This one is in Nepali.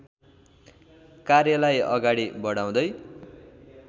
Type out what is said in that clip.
कार्यलाई अगाडि बढाउँदै